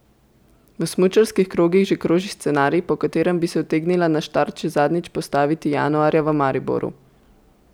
V smučarskih krogih že kroži scenarij, po katerem bi se utegnila na štart še zadnjič postaviti januarja v Mariboru.